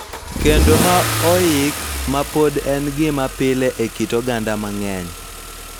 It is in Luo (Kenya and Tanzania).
Kendo ma oik, ma pod en gima pile e kit oganda mang�eny, .